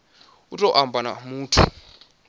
u tou amba na muthu